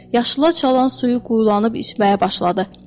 Yaşılı çalan suyu quyulanıb içməyə başladı.